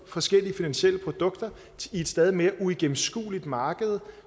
forskellige finansielle produkter i et stadig mere uigennemskueligt marked